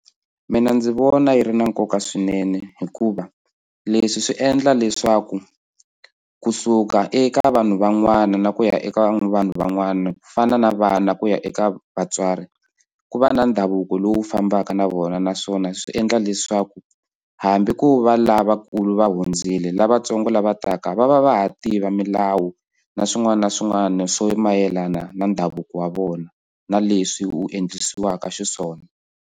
Mina ndzi vona yi ri na nkoka swinene hikuva leswi swi endla leswaku kusuka eka vanhu van'wana na ku ya eka vanhu van'wana ku fana na vana ku ya eka vatswari ku va na ndhavuko lowu fambaka na vona naswona swi endla leswaku hambi ko va lavakulu va hundzile lavatsongo lava taka va va va ha tiva milawu na swin'wana na swin'wana swo mayelana na ndhavuko wa vona na leswi wu endlisiwaku xiswona.